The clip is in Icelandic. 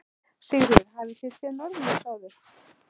Sigríður: Hafið þið séð norðurljós áður?